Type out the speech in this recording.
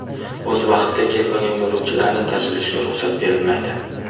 O‘z vaqtida kelmagan yo‘lovchilarning tashilishiga ruxsat berilmaydi.